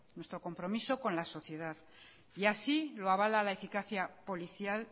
nuestro compromiso con la sociedad y así lo avala la eficacia policial